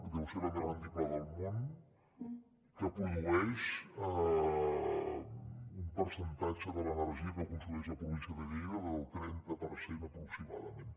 deu ser la més rendible del món que produeix un percentatge de l’energia que consumeix la província de lleida del trenta per cent aproximadament